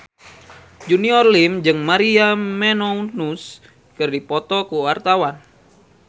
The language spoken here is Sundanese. Junior Liem jeung Maria Menounos keur dipoto ku wartawan